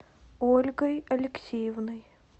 ольгой алексеевной